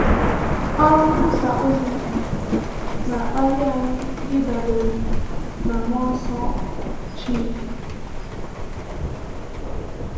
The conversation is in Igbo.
Ọrụ nkwusà ozi na-akpali anyị ịdabere n’Mmụọ Nsọ Chineke.